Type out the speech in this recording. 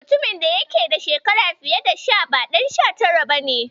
Mutumin da ya yake da shekaru fiye da sha tara ba Ɗan sha ba ne.